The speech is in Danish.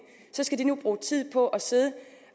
skal de nu bruge tid på at sidde